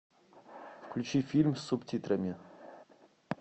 включи фильм с субтитрами